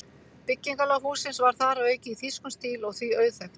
Byggingarlag hússins var þar að auki í þýskum stíl og því auðþekkt.